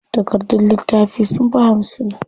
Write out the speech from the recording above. Takardun littafin sunfi hamsin.